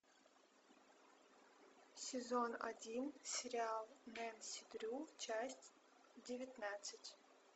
сезон один сериал нэнси дрю часть девятнадцать